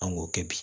An k'o kɛ bi